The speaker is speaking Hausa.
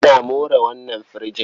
Ana more wannan firijin.